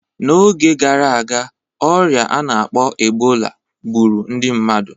N'oge gara aga, ọrịa a na-akpọ Ebola gburu ndị mmadu